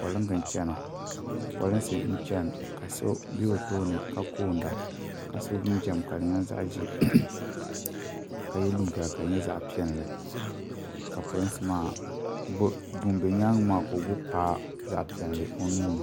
polinsi n-chana ka so be o tooni ka koonda ka sɔ jinjam ka di nyɛ zaɣ' ʒee ka ye liiga ka di nyɛ zaɣ' piɛlli ka polinsi maa ŋun be nyaaga maa ka o gbubi paɣa zaɣ' piɛlli o nuu ni.